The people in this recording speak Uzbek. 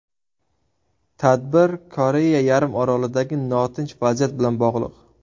Tadbir Koreya yarim orolidagi notinch vaziyat bilan bog‘liq.